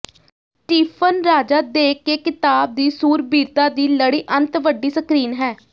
Stephen ਰਾਜਾ ਦੇ ਕੇ ਿਕਤਾਬ ਦੀ ਸੂਰਬੀਰਤਾ ਦੀ ਲੜੀ ਅੰਤ ਵੱਡੀ ਸਕ੍ਰੀਨ ਹੈ